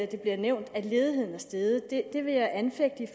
det bliver nævnt at ledigheden er steget sige at det vil jeg anfægte